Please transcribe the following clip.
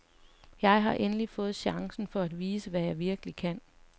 Jeg har endelig fået chancen for at vise, hvad jeg virkelig kan.